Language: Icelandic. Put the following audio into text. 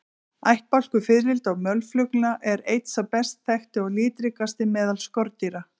Ættbálkur fiðrilda og mölflugna er einn sá best þekkti og litríkasti meðal skordýra.